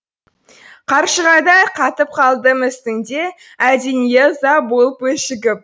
қаршығадай қатып қалдым үстінде әлденеге ыза болып өшігіп